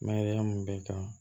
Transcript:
Mayɛlɛya mun bɛ n kan